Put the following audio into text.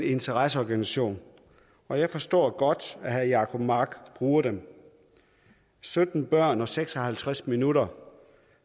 interesseorganisation og jeg forstår godt at herre jacob mark bruger den sytten børn og seks og halvtreds minutter